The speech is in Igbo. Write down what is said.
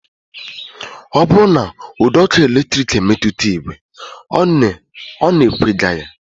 Ọ bụrụ na ụdọọkụ eletrik emetụta ìgwè, ọ na-ekwega ya